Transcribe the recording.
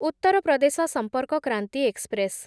Uttar Pradesh Sampark Kranti express